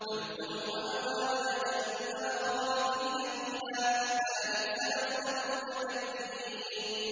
فَادْخُلُوا أَبْوَابَ جَهَنَّمَ خَالِدِينَ فِيهَا ۖ فَلَبِئْسَ مَثْوَى الْمُتَكَبِّرِينَ